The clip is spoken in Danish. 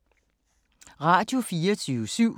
Radio24syv